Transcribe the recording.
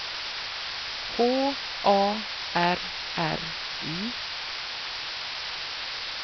H A R R Y